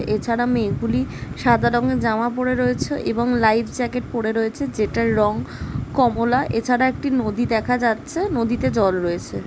এছাড়া মেয়েগুলি সাদা রঙের জামা পরে রয়েছে এবং লাইফ জ্যাকেট পরে রয়েছে যেটার রং কমোলা। এছাড়া একটি যদি দেখা যাচ্ছে নদীতে জল রয়েছে ।